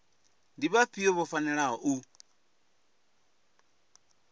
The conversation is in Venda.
ndi vhafhio vho fanelaho u